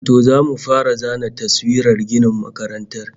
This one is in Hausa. To, zamu fara zana taswirar ginin makarantar